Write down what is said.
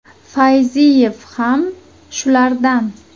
Fayziyev ham shulardan.